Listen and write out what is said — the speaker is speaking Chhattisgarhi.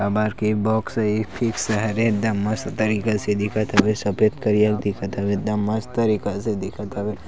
हमर कैप बॉक्स ये फिक्स हवे एकदम मस्त तरीका से दिखत हवे सफ़ेद करिया दिखत हवे एकदम मस्त तरीका से दिखत हवे ।